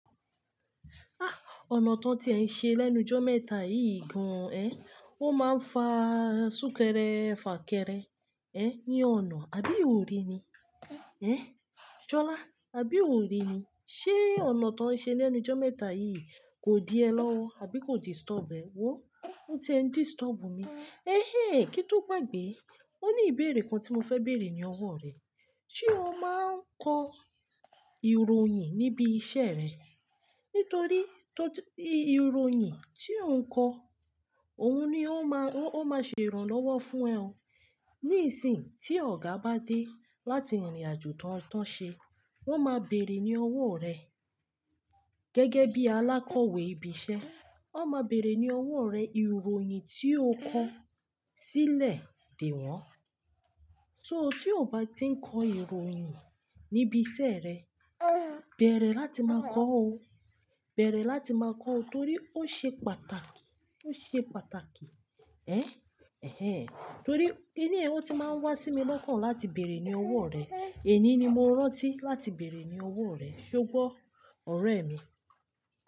Ah! Ọ̀nà tó ń ṣe lẹ́nu jọ́ mẹ́ta yìí gan, ẹ. Ó máa ń fa súnkẹrẹ fà kẹrẹ, ẹ́, ní ọ̀nà, àbí ò rí ni? Ẹ̀, Jọlá, àbí ò rí ni? Ṣé ọ̀nà tó ń ṣe lẹ́nu jọ́ mẹ́ta yìí kò di ẹ lọ́wọ́, àbí kò disturb ẹ? Wo, ó ti ń disturb mi. Ehén! Kítú gbagbẹ̀, ó ní ìbéèrè kan tí mo fẹ́ béèrè ní ọwọ́ rẹ. Ṣé o máa ń kọ ìròyìn níbi iṣẹ́ rẹ? Nítorí tó tí ìròyìn tí o ń kọ òun ni ó máa, ó máa ṣe ìrànlọ́wọ́ fún ẹ o. Nísìn tí ọ̀gá bá dé láti ìrìnàjò tán tán ṣe, wọ́n máa béèrè ní ọwọ́ rẹ. Gẹ́gẹ́ bí alákọ̀wé ibi iṣẹ́, wọ́n máa béèrè ní ọwọ́ rẹ ìròyìn tí o kọ sílẹ̀ dè wọ́n. So tí o bá ti ń kọ ìròyìn níbi iṣẹ́ rẹ, bẹ̀rẹ̀ láti máa kọ́ o. Bẹ̀rẹ̀ láti máa kọ́ o torí ó ṣe pàtàkì, ó ṣe pàtàkì. Ẹ̀, ehén. Torí ẹni ẹni ẹ ó ti máa ń wá sí mi lọ́kàn láti béèrè ní ọwọ́ rẹ. Èní ni mo rántí láti béèrè ní ọwọ́ rẹ. Ṣé gbó, ọ̀rẹ́ mi?